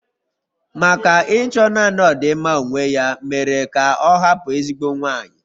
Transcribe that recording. Maka Ịchọ naanị ọdịmma onwe ya mere ka ọ hapụ ezigbo nwanyị.